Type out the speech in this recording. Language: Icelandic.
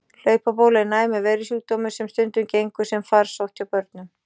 Hlaupabóla er næmur veirusjúkdómur sem stundum gengur sem farsótt hjá börnum.